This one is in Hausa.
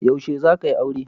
Yaushe zaka yi aure?